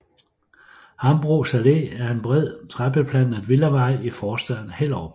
Hambros Allé er en bred træbeplantet villavej i forstaden Hellerup